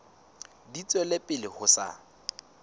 di tswela pele ho sa